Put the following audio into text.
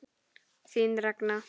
Þín Ragna.